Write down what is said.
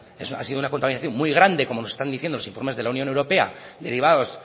ha sido una contaminación muy grande como nos están diciendo los informes de la unión europea derivados